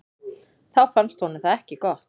Þá fannst honum það ekki gott.